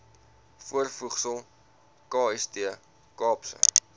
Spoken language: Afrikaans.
voorvoegsel kst kaapse